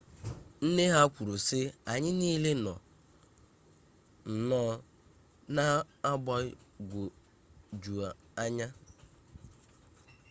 nne ha kwuru sị anyị niile nọ nnọọ na mgbagwojuanya